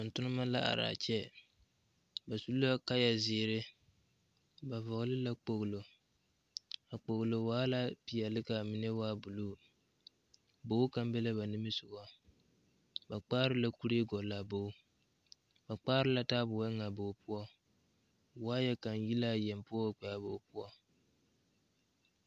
Tontoneba ba la are a kyɛ ba su la kaya zeere ba vɔgle kpoglo a kpoglo waa la peɛle ka mine waa buluu bogi kaŋa be la ba nimisoga ba kpaare la kuree gɔgle a bogi ba kpaare la taabo eŋ a bogi poɔ waya kaŋa yi la a yeŋe wa kpɛ a bogi poɔ.